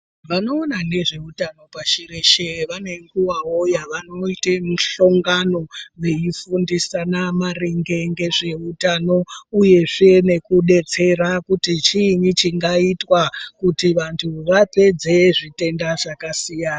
Vanoona ngezveutano pashi reshe, vane nguwawo yavanoite mihlongano veifundisana maringe ngezveutano, uyezve nekudetsera kuti chiinyi chingaitwa kuti vantu vapedze zvitenda zvakasiyana.